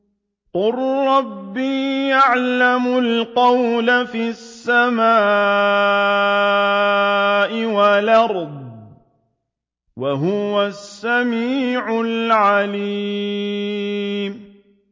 قَالَ رَبِّي يَعْلَمُ الْقَوْلَ فِي السَّمَاءِ وَالْأَرْضِ ۖ وَهُوَ السَّمِيعُ الْعَلِيمُ